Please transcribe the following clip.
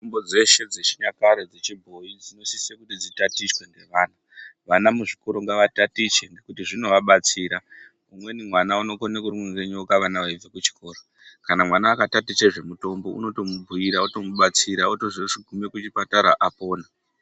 Mitombo dzeshe dzechinyakare dzechibhoyi dzinosise kuti dzitatichwe ngevana vana muzvikoro ngavatatiche ngekuti zvinovabatsira umweni mwana unokone kurumwe ngenyoka vana veibva kuchikora kana mwana akataticha zvemutombo unotomubhiira utomubatsira otozogume kuchipatara apona.